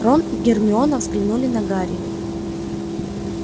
рон и гермиона взглянули на гарри